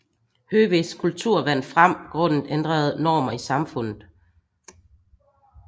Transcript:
Høvisk kultur vandt frem grundet ændrede normer i samfundet